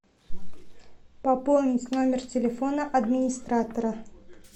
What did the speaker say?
пополнить номер телефона администратора